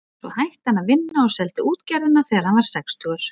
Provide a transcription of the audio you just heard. Svo hætti hann að vinna og seldi útgerðina þegar hann varð sextugur.